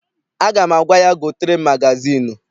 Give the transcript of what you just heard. Aga m agwa ya, gotere m magazịịnụ!